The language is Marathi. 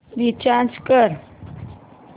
रीचार्ज कर